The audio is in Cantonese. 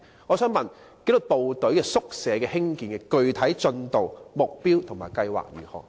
我想問，興建紀律部隊宿舍的具體進度、目標和計劃為何？